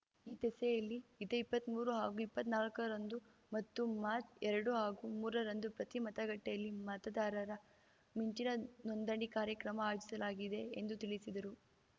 ಈ ದಿಸೆಯಲ್ಲಿ ಇದೇ ಇಪ್ಪತ್ಮೂರು ಹಾಗೂ ಇಪ್ಪತ್ನಾಕರಂದು ಮತ್ತು ಮಾರ್ಚ್ ಎರಡು ಹಾಗೂ ಮೂರರಂದು ಪ್ರತಿ ಮತಗಟ್ಟೆಯಲ್ಲಿ ಮತದಾರರ ಮಿಂಚಿನ ನೋಂದಣಿ ಕಾರ್ಯಕ್ರಮ ಆಯೋಜಿಸಲಾಗಿದೆ ಎಂದು ತಿಳಿಸಿದರು